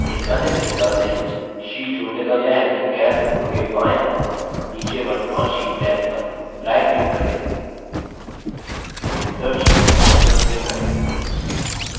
एक अन्य तरीका नई sheet जोड़ने का यह है कि calc window के बाएं ओर नीचे वर्त्तमान sheet टैब पर right क्लिक करें insert sheet option पर क्लिक करें